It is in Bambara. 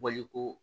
Baliku